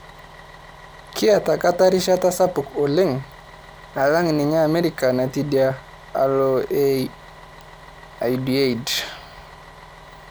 Keeta katar erishata sapuk oleng' alang' ninye Amerika natii edia alo e Al-Udaid